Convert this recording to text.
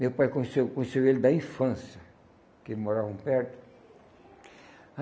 Meu pai conheceu conheceu ele da infância, porque moravam perto.